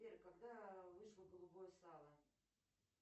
сбер когда вышло голубое сало